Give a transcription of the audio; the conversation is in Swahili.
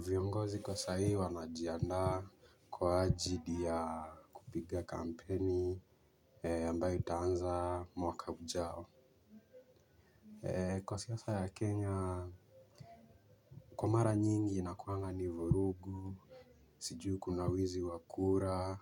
Viongozi kwa sahii wanajianda kwa ajili ya kupiga kampeni ambayo itaanza mwaka ujao. Kwa siyasa ya Kenya Kumara nyingi inakuanga ni vurugu. Sijui kuna wizi wakura